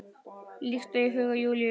Líkt og í huga Júlíu.